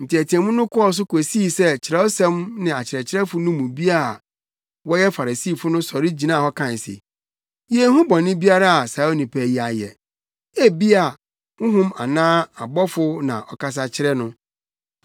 Nteɛteɛmu no kɔɔ so kosii sɛ Kyerɛwsɛm no akyerɛkyerɛfo no mu bi a wɔyɛ Farisifo no sɔre gyinaa hɔ kae se, “Yenhu bɔne biara a saa onipa yi ayɛ! Ebia honhom anaa ɔbɔfo na ɔkasa kyerɛɛ no!”